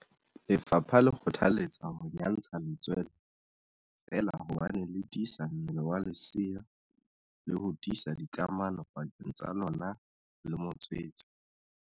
Lefapha le kgothaletsa ho nyantsha letswele feela hobane le tiisa mmele wa lesea le ho tiisa dikamano pakeng tsa lona le motswetse.